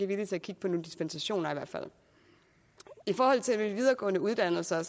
villig til at kigge på nogle dispensationer i forhold til de videregående uddannelser er